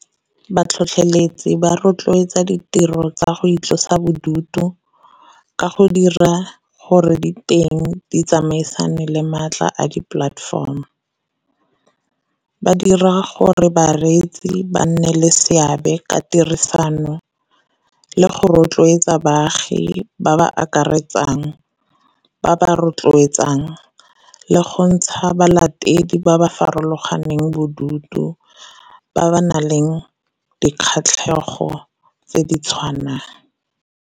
Batlhotlheletsi ba rotloetsa ditiro tsa go itlosa bodutu ka go dira gore diteng di tsamaisane le maatla a di platform. Ba dira gore bareetsi ba nne le seabe ka tirisano, le go rotloetsa baagi ba ba akaretsang, ba ba rotloetsang, le go ntsha balatedi ba ba farologaneng bodutu, ba ba nang le dikgatlhegelo tse di tshwanang.